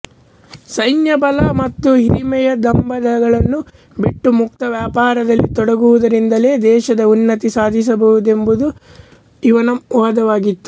ಸೈನ್ಯಬಲ ಮತ್ತು ಹಿರಿಮೆಯ ಡಂಭಗಳನ್ನು ಬಿಟ್ಟು ಮುಕ್ತವ್ಯಾಪಾರದಲ್ಲಿ ತೊಡಗುವುದರಿಂದಲೇ ದೇಶದ ಉನ್ನತಿ ಸಾಧಿಸುವುದೆಂಬುದು ಇವನ ವಾದವಾಗಿತ್ತು